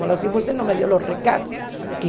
Falou assim, você não me deu o recado que...